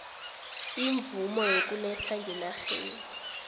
imvumo yokuletha ngenarheni